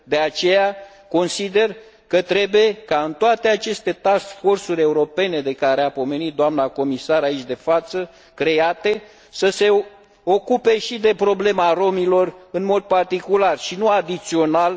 De aceea, consider că trebuie ca toate aceste task force uri europene de care a pomenit doamna comisar, aici de față, să se ocupe și de problema romilor, în mod particular, și nu adițional.